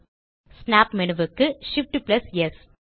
snap menu க்கு Shift amp ஸ்